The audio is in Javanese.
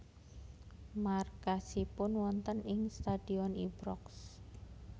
Markasipun wonten ing Stadion Ibrox